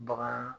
Bagan